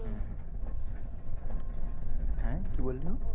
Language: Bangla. হম হম হ্যাঁ কি বললে ও?